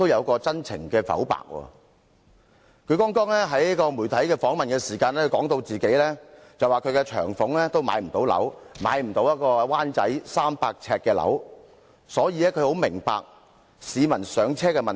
她曾在接受媒體訪問時表示，她的長俸不足以在灣仔購買一個300平方呎的單位，所以她很明白市民的"上車"問題。